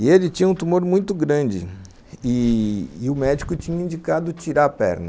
E ele tinha um tumor muito grande, e o médico tinha indicado tirar a perna.